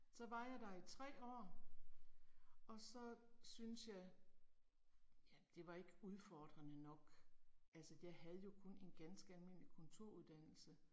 Så var jeg der i 3 år. Og så synes jeg. Ja, det var ikke udfordrende nok, altså jeg havde jo kun en ganske almindelig kontoruddannelse